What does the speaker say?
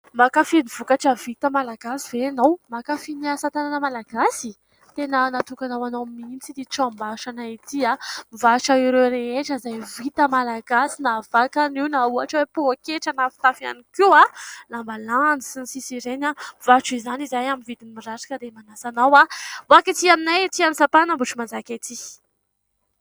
Mankafy ny vokatra vita malagasy ve ianao ? Mankafy ny asa tanana malagasy ? Tena natokana ho anao mihitsy tranombarotra anay ity, mivarotra ireo rehetra izay vita malagasy na vakana io, na ohatra hoe pôketra, na fitafy ihany koa, lambalandy sy ny sisa ireny... Mivarotra izany izahay amin'ny vidiny mirary, ka dia manasa anao hanketỳ aminay ety amin'ny sampanan' Ambohitrimanjaka ety.